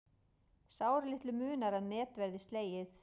Sáralitlu munar að met verði slegið